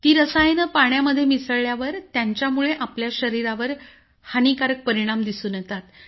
ती रसायनं पाण्यामध्ये मिसळल्यावर त्यांच्यामुळे आपल्या शरीरावरही हानिकारक परिणाम दिसून येतात